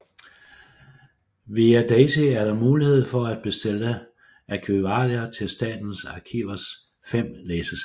Via daisy er der mulighed for at bestille arkivalier til Statens Arkivers fem læsesale